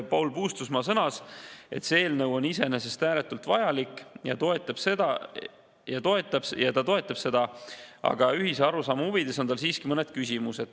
Paul Puustusmaa sõnas, et see eelnõu on iseenesest ääretult vajalik ja ta toetab seda, aga ühese arusaama huvides on tal siiski mõned küsimused.